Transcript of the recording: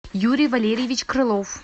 юрий валерьевич крылов